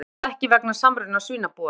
Aðhefst ekki vegna samruna svínabúa